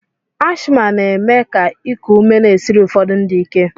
Ashma na-eme ka iku ume na-esiri ụfọdụ ndị ike.